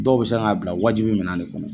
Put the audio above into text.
Dɔw bɛ se k'a bila wajibi minan de kɔnɔ